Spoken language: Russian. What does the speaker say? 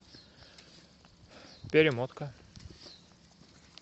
перемотка